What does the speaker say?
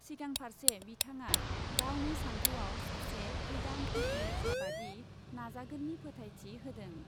सिगांफार्से बिथाङा गावनि सान्थौआव सासे गोदान पिटि उषाबादि नाजागोननि फोथायथि होदों ।